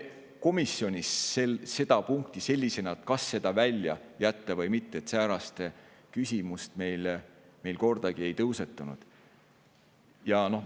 Komisjonis meil seda küsimust sellisena, kas seda välja jätta või mitte, kordagi ei tõusetunud.